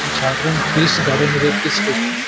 এটি ঝাড়গ্রাম ফেস গ্রামের একটি স্টেশন ।